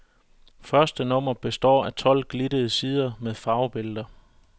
Første nummer består af tolv glittede sider med farvebilleder.